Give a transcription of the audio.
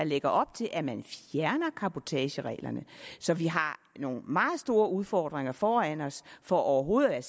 lægger op til at man fjerner cabotagereglerne så vi har nogle meget store udfordringer foran os for overhovedet at